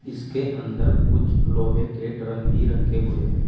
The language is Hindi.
इसके अंदर कुछ लोहे के ड्रम भी रखे हुए है।